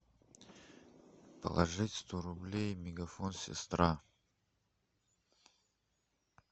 положить сто рублей мегафон сестра